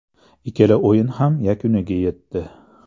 Ikkala o‘yin ham yakuniga yetdi.